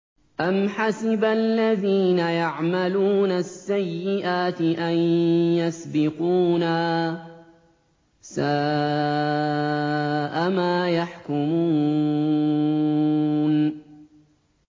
أَمْ حَسِبَ الَّذِينَ يَعْمَلُونَ السَّيِّئَاتِ أَن يَسْبِقُونَا ۚ سَاءَ مَا يَحْكُمُونَ